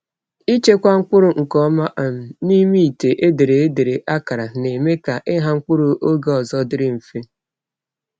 Ịchekwa mkpụrụ nke ọma um n’ime ite e dere e dere akara na-eme ka ịgha mkpụrụ oge ọzọ dịrị mfe.